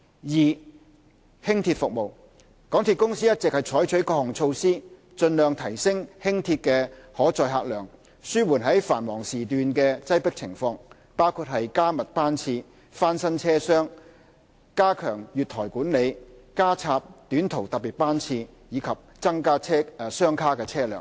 二輕鐵服務港鐵公司一直採取各項措施，盡量提升輕鐵的可載客量，紓緩繁忙時段的擠迫情況，包括加密班次、翻新車廂、加強月台管理、加插短途特別班次，以及增加雙卡車輛。